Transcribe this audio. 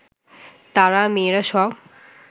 তারা, মেয়েরা সব